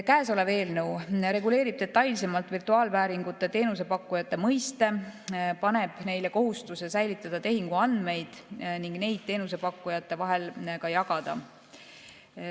Käesolev eelnõu reguleerib detailsemalt virtuaalvääringu teenuse pakkujate mõiste, paneb neile kohustuse säilitada tehinguandmeid ning neid teenusepakkujate vahel ka jagada.